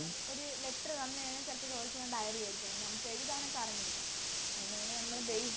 ഒര് Letter തന്ന് കഴിഞ്ഞ ചെലപ്പോ ചോദിക്കുന്നത് Diary ആരിക്കും അതോണ്ട് നമുക്ക് എഴുതാനൊക്കെ അറിഞ്ഞിരിക്കണം അതിനു വേണ്ടി നമ്മള്